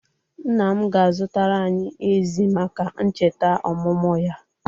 Nna m ga-azụtara anyị ezi maka ncheta omụmụ ya.